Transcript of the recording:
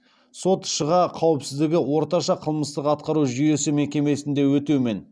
сот ш ға қауіпсіздігі орташа қылмыстық атқару жүйесі мекемесінде өтеумен